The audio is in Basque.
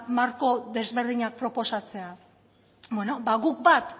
marko desberdinak proposatzea bueno ba guk bat